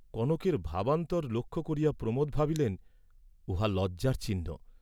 কনকের ভাবান্তর লক্ষ্য করিয়া প্রমোদ ভাবিলেন উহা লজ্জার চিহ্ন।